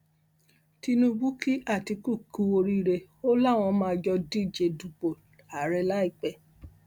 tinúbú kí àtiku kù oríire ó láwọn máa jọ díje dupò àárẹ láìpẹ